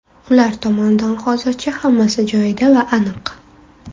Ular tomonidan hozircha hammasi joyida va aniq.